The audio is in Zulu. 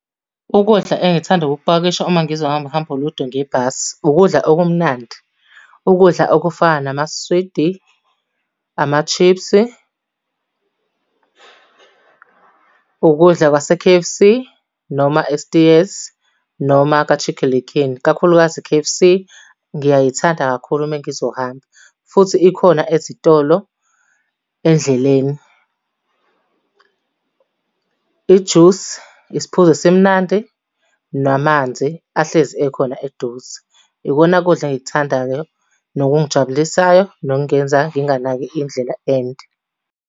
Ukudla engithanda ukukupakisha uma ngizohamba uhambo olude ngebhasi, Ukudla okumnandi, ukudla okufana namaswidi, ama-chips, ukudla kwase-K_F_C noma e-Steers noma ka-Chicken Licken, ikakhulukazi i-K_F_C, ngiyayithanda kakhulu uma ngizohamba. Futhi ikhona ezitolo endleleni. Ijusi, isiphuzo esimnandi, namanzi ahlezi ekhona eduze. Ikona kudla engikuthandayo, nokungijabulisayo, nokungenza nginganaki indlela ende.